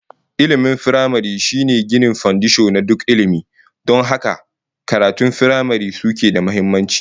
Ilmin firamare shine ginin fandisho na duk ilmi, don haka makarantun firamare suke da muhimmanci